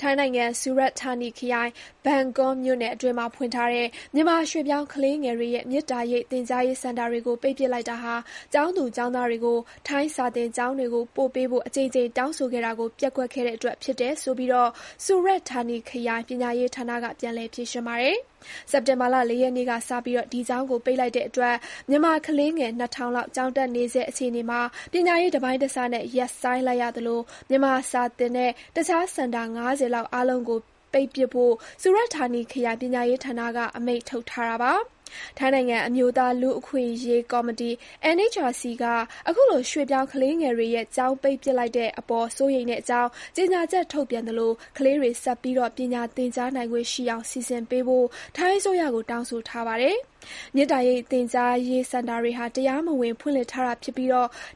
ထိုင်းနိုင်ငံ၊ ဆူရတ်ဌာနီခရိုင် ဘန်ကွန်းမြို့နယ်အတွင်းမှာဖွင့်ထားတဲ့ မြန်မာ ရွေ့ပြောင်းကလေးငယ်တွေရဲ့ မေတ္တာရိပ် သင်ကြားရေး စင်တာတွေကို ပိတ်ပစ်လိုက်တာဟာ ကျောင်းသူ ကျောင်းသားတွေကို ထိုင်း စာသင်ကျောင်းတွေကို ပို့ပေးဖို့ အကြိမ်ကြိမ် တောင်းဆိုခဲ့တာကို ပျက်ကွက်ခဲ့တဲ့အတွက် ဖြစ်တယ်ဆိုပြီး ဆူရတ်ဌာနီခရိုင် ပညာရေးဌာနက ပြန်လည် ဖြေရှင်းပါတယ်။ စက်တင်ဘာလ ၄ ရက်နေ့ကစပြီး ဒီကျောင်းကို ပိတ်လိုက်တဲ့အတွက် မြန်မာ ကလေးငယ် ၂,၀၀၀ လောက် ကျောင်းတက်နေဆဲ အခြေအနေမှာ ပညာရေးတပိုင်းတစနဲ့ ရပ်ဆိုင်းလိုက်ရသလို၊ မြန်မာစာသင်တဲ့ တခြားစင်တာ ၅၀ လောက် အားလုံးကို ပိတ်ပစ်ဖို့ ဆူရတ်ဌာနီခရိုင် ပညာရေးဌာနက အမိန့်ထုတ်ထား ပါတယ်။ ထိုင်းနိုင်ငံအမျိုးသား လူ့အခွင့်အရေးကော်မရှင် (NHRC) က အခုလို ရွေ့ပြောင်း ကလေးငယ်တွေရဲ့ ကျောင်းပိတ်ပစ်လိုက်တဲ့အပေါ် စိုးရိမ်တဲ့အကြောင်း ကြေညာချက် ထုတ်ပြန်သလို ကလေးတွေ ဆက်ပြီး ပညာသင်ကြားနိုင်ခွင့်ရှိအောင် စီစဉ်ပေးဖို့ ထိုင်းအစိုးရကို တောင်းဆိုထားပါတယ်။ မေတ္တာရိပ်သင်ကြားရေး စင်တာတွေဟာ တရားမဝင်ဖွင့်လှစ်ထားတာဖြစ်ပြီး